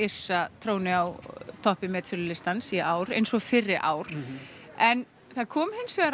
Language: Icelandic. tróni á toppi metsölulistans í ár eins og fyrri ár en það kom hins vegar